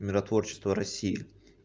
миротворчество россии